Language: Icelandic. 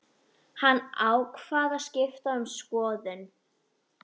Hann ákvað að skipta um skoðun.